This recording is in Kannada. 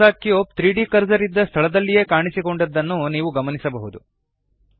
ಹೊಸ ಕ್ಯೂಬ್ 3ದ್ ಕರ್ಸರ್ ಇದ್ದ ಸ್ಥಳದಲ್ಲಿಯೆ ಕಾಣಿಸಿಕೊಂಡಿದ್ದನ್ನು ನೀವು ಗಮನಿಸಬಹುದು